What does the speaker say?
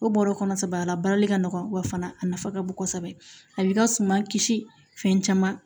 O bɔrɔ kɔnɔ saba la baarali ka nɔgɔ wa fana a nafa ka bon kosɛbɛ a b'i ka suman kisi fɛn caman